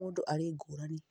o mũndũ arĩ ngũrani